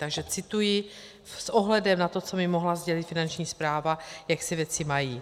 Takže cituji s ohledem na to, co mi mohla sdělit Finanční správa, jak se věci mají.